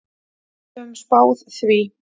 Við höfðum spáð því.